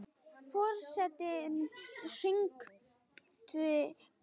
Forseti hringdi bjöllu!